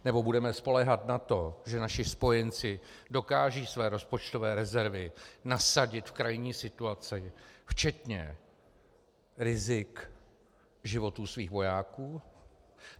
Nebo budeme spoléhat na to, že naši spojenci dokážou své rozpočtové rezervy nasadit v krajní situaci, včetně rizik životů svých vojáků?